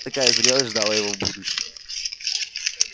такая зрелость ждала его в будущем